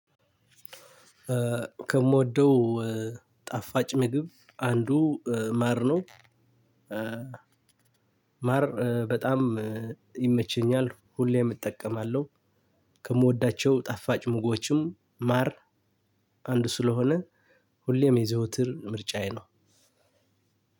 ከምወደው ጣፋጭ ምግብ አንዱ ማር ነው። ማር በጣም ይመችኛል ሁሌም እጠቀማለሁ። ከምወዳቸው ጣፋጭ ምግቦችም ማር አንዱ ስለሆነ። ሁሌም የዘወትር ምርጫዬ ነው።